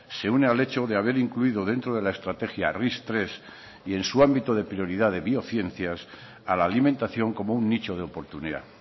se une al hecho de haber incluido dentro de la estrategia ris tres y en su ámbito de prioridad de biociencias a la alimentación como un nicho de oportunidad